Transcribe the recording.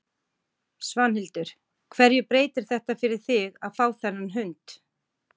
Svanhildur, hverju breytir þetta fyrir þig að fá þennan hund?